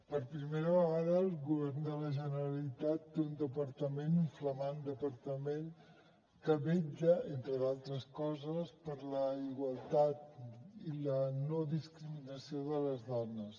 per primera vegada el govern de la generalitat té un departament un flamant departament que vetlla entre d’altres coses per la igualtat i la no discriminació de les dones